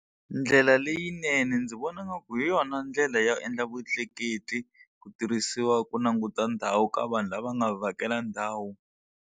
Ndlela leyinene ndzi vona ngaku hi yona ndlela yo endla vutleketli ku tirhisiwa ku languta ndhawu ka vanhu lava nga vhakela ndhawu.